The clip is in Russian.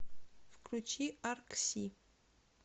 включи аркси